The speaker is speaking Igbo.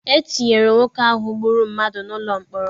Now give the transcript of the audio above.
E tinyere nwoke ahụ gbụrụ mmadụ n'ụlọ mkpọrọ.